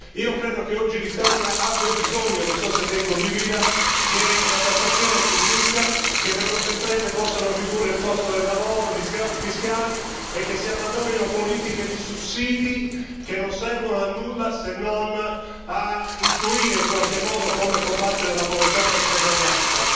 Io credo che oggi l'Italia abbia bisogno, non so se lei condivida, che la tassazione si riduca, che le nostre imprese possano ridurre il costo del lavoro, che possano beneficiare di sgravi fiscali e che si abbandonino politiche di sussidi, che non servono a nulla se non a intuire, in qualche modo, come combattere la povertà e la disuguaglianza.